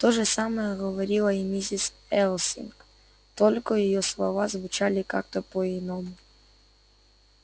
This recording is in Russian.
то же самое говорила и миссис элсинг только её слова звучали как-то по-иному